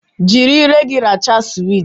Jiri ire gị rachaa suweet